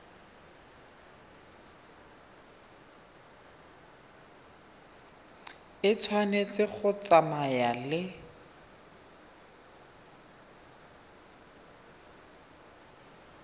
e tshwanetse go tsamaya le